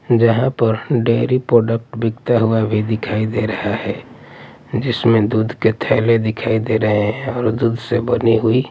जहां पर dairy product बिकता हुआ भी दिखाई दे रहा है जिसमें दूध के थैले दिखाई दे रहे हैं और दूध से बनी हुई--